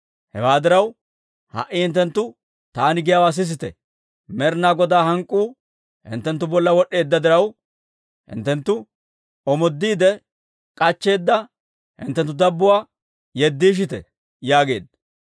Hewaa diraw, ha"i hinttenttu taani giyaawaa sisite. Med'inaa Godaa hank'k'uu hinttenttu bolla wod'd'eedda diraw, hinttenttu omoodiide k'achcheedda hinttenttu dabbotuwaa yeddiishite» yaageedda.